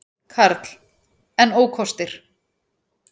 Karl: En ókostir?